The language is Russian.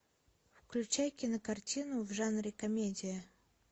включай кинокартину в жанре комедия